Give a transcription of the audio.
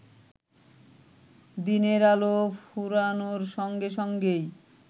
দিনের আলো ফুরানোর সঙ্গে সঙ্গেই